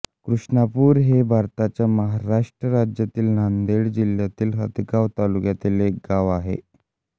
कृष्णापूर हे भारताच्या महाराष्ट्र राज्यातील नांदेड जिल्ह्यातील हदगाव तालुक्यातील एक गाव आहे